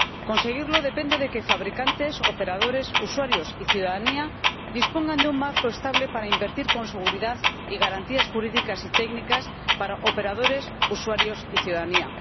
Conseguirlo depende de que fabricantes, operadores, usuarios y ciudadanía dispongan de un marco estable para invertir con seguridad y garantías jurídicas y técnicas para operadores, usuarios y ciudadanía.